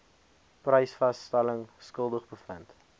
prysvasstelling skuldig bevind